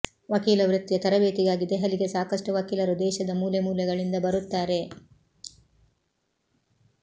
ವಕೀಲ ವೃತ್ತಿಯ ತರಬೇತಿಗಾಗಿ ದೆಹಲಿಗೆ ಸಾಕಷ್ಟು ವಕೀಲರು ದೇಶದ ಮೂಲೆ ಮೂಲೆಗಳಿಂದ ಬರುತ್ತಾರೆ